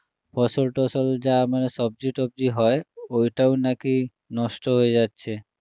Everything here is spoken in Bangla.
ফসল টসল যা মানে সবজি টবজি হয় ওয়িটাও নাকি নষ্ট হয়ে যাচ্ছে